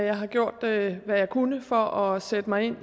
jeg har gjort hvad jeg kunne for at sætte mig ind